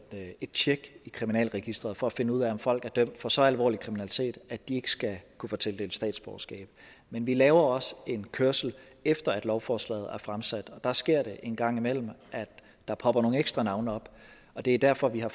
et tjek i kriminalregisteret for at finde ud af om folk er dømt for så alvorlig kriminalitet at de ikke skal kunne få tildelt statsborgerskab men vi laver også en kørsel efter at lovforslaget er fremsat og der sker det en gang imellem at der popper nogle ekstra navne op det er derfor at vi har